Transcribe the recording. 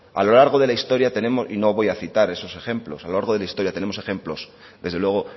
a lo largo de la historia tenemos y no voy a citar esos ejemplo a lo largo de la historia tenemos ejemplos desde luego